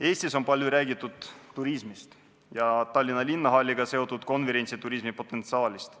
Eestis on palju räägitud turismist ja Tallinna linnahalliga seotud konverentsi- ja turismipotentsiaalist.